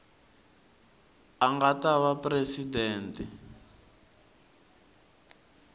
a nga ta va presidente